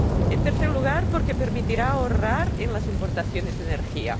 En tercer lugar, porque permitirá ahorrar en las importaciones de energía.